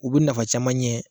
U bi nafa caman ɲɛ